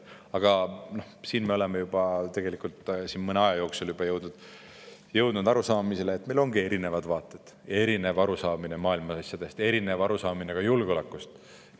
Aga siin me oleme tegelikult mõne aja jooksul juba jõudnud arusaamisele, et meil ongi erinevad vaated ja erinev arusaamine maailma asjadest, erinev arusaamine ka julgeolekust.